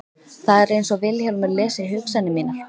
Það er einsog Vilhjálmur lesi hugsanir mínar.